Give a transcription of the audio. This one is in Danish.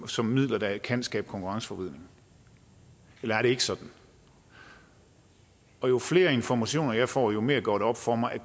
som midler der kan skabe konkurrenceforvridning eller er det ikke sådan jo flere informationer jeg får jo mere går det op for mig at